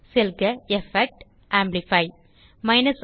செல்க எஃபெக்ட் ஜிடிஜிடி ஆம்ப்ளிஃபை